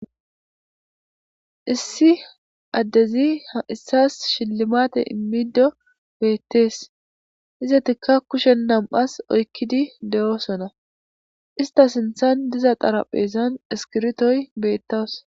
Issi addezi ha issas shillimate immido beettees izatikka kushen nam7as oykkidi de7oosona ista sinthan diza xarapheesan eskirtoy beettas.